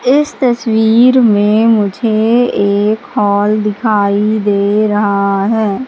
इस तस्वीर में मुझे एक हॉल दिखाई दे रहा है।